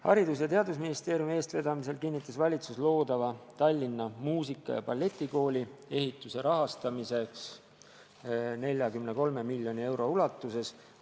Haridus- ja Teadusministeeriumi eestvedamisel kinnitas valitsus loodava Tallinna Muusika- ja Balletikooli ehituse rahastamise 43 miljoni euro ulatuses.